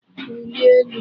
Wulie elu.